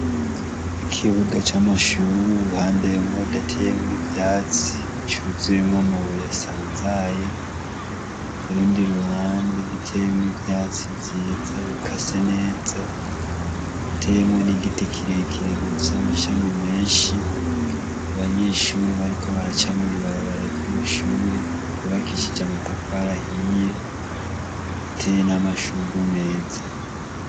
Ikibuga c'amashure uruhande rumwe rudateyemwo ivyatsi cuzuye amabuye asanzaye urundi ruhande ruteyemwo ivyatsi vyiza bikase neza hateyemwo n'igiti kirekire gifise amashami menshi ;abanyeshure bariko baraca mwibarabara ryama shure bubakishije amatafari ahiye hateye namashure meza.